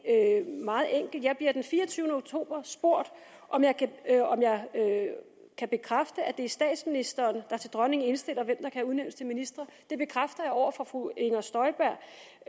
meget enkelt jeg bliver den fireogtyvende oktober spurgt om jeg kan bekræfte at det er statsministeren der til dronningen indstiller hvem der kan udnævnes til ministre det bekræfter jeg over for fru inger støjberg